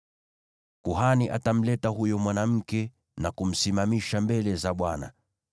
“ ‘Kuhani atamleta huyo mwanamke na kumsimamisha mbele za Bwana .